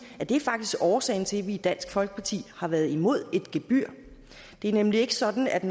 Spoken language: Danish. at det faktisk årsagen til at vi i dansk folkeparti har været imod et gebyr det er nemlig ikke sådan at